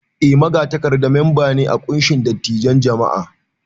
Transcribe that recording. Eh, Magatakarda mamba ne a kunshin dattijan jam'a.